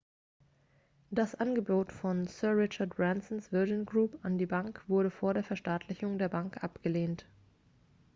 das angebot von sir richard bransons virgin group an die bank wurde vor der verstaatlichung der bank abgelehnt